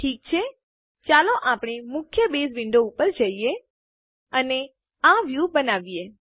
ઠીક છે ચાલો આપણે મુખ્ય બેઝ વિન્ડો ઉપર જઈએ અને આ વ્યું બનાવીએ